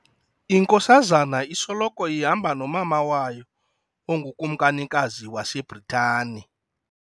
Inkosazana isoloko ihamba nomama wayo ongukumkanikazi waseBritani.